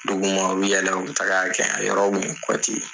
Dugu ma u bi yɛlɛ u bi taga a kɛ a yɔrɔ kun ye ye.